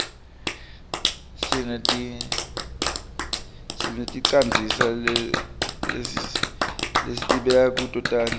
sineticandzisa lesibeka kuto kudla